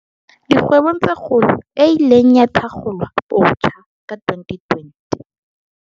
Dikgwebo tse Kgolo, e ileng ya thakgolwabotjha ka 2020.